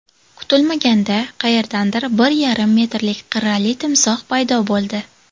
Kutilmaganda qayerdandir bir yarim metrlik qirrali timsoh paydo bo‘ldi.